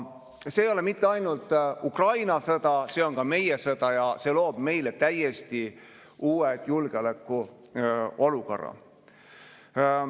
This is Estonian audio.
See ei ole mitte ainult Ukraina sõda, vaid see on ka meie sõda ja see loob meile täiesti uue julgeolekuolukorra.